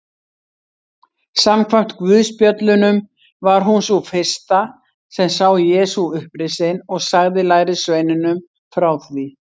Samkvæmt guðspjöllunum var hún sú fyrsta sem sá Jesú upprisinn og sagði lærisveinunum frá því.